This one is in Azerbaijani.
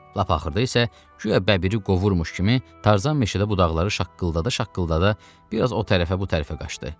Lap axırda isə, güya bəbiri qovurmuş kimi, Tarzan meşədə budaqları şaqqıldada-şaqqıldada bir az o tərəfə bu tərəfə qaçdı.